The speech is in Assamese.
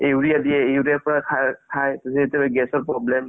কিন্তু এটা কথা তুমি সন্ধিয়া মানে duty ৰ পৰা আহিলা ন